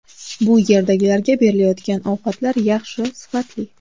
Bu yerdagilarga berilayotgan ovqatlar yaxshi, sifatli.